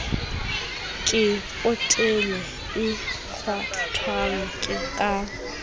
ke potele e kgwathwang ka